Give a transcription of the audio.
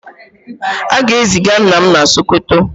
a ga-eziga nna m na Sokoto